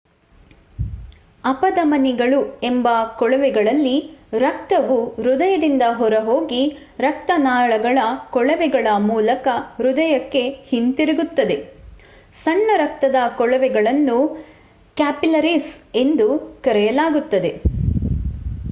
ಅಪಧಮನಿಗಳು ಎಂಬ ಕೊಳವೆಗಳಲ್ಲಿ ರಕ್ತವು ಹೃದಯದಿಂದ ಹೊರ ಹೋಗಿ ರಕ್ತನಾಳಗಳ ಕೊಳವೆಗಳ ಮೂಲಕ ಹೃದಯಕ್ಕೆ ಹಿಂತಿರುಗುತ್ತದೆ ಸಣ್ಣ ರಕ್ತದ ಕೊಳವೆಗಳನ್ನು ಕ್ಯಾಪಿಲ್ಲರೀಸ್ ಎಂದು ಕರೆಯಲಾಗುತ್ತದೆ